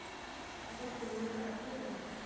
Þú þóttir mjög efnilegur?